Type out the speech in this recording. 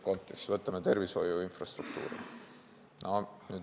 Võtame esiteks tervishoiu infrastruktuuri.